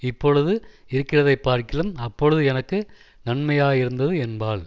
இப்பொழுது இருக்கிறதைப்பார்க்கிலும் அப்பொழுது எனக்கு நன்மையாயிருந்தது என்பாள்